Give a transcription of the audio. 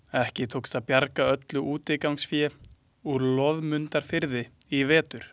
Ekki tókst að bjarga öllu útigangsfé úr Loðmundarfirði í vetur.